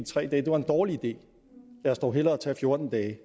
tre dage er en dårlig idé lad os dog hellere tage fjorten dage